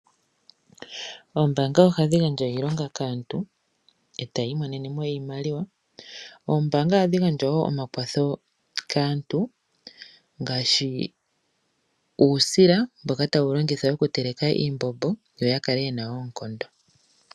Oombaanga ohadhi gandja iilonga kaantu etaya imonene mo iimaliwa. Oombaanga ohadhi gandja wo omakwatho kaantu ngaashi uusila mboka tawu longithwa okuteleka iimbombo yo ya kale yena oonkondo.